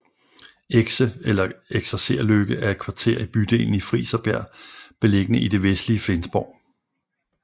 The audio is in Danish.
Exe eller Eksercerløkke er et kvarter i bydelen Friserbjerg beliggende i det vestlige Flensborg